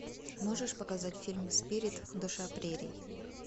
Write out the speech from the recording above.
можешь показать фильм спирит душа прерий